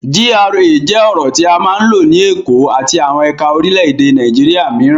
GRA jẹ́ ọ̀rọ̀ tí a máa ń lò ní Èkó àti àwọn ẹ̀ka orílẹ̀-èdè Nàìjíríà mìíràn.